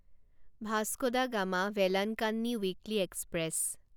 Vasco da Gama Velankanni weekly express